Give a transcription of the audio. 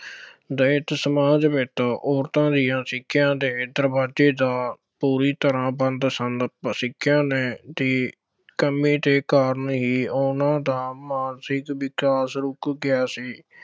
ਦਲਿਤ ਸਮਾਜ ਵਿੱਚ ਔਰਤਾਂ ਦੀਆਂ ਸਿੱਖਿਆ ਦੇ ਦਰਵਾਜ਼ੇ ਤਾਂ ਪੂਰੀ ਤਰ੍ਹਾਂ ਬੰਦ ਸਨ, ਪਰ ਸਿੱਖਿਆ ਲੈਣ ਦੀ ਕਮੀ ਦੇ ਕਾਰਨ ਹੀ ਉਹਨਾ ਦਾ ਮਾਨਸਿਕ ਵਿਕਾਸ ਰੁੱਕ ਗਿਆ ਸੀ।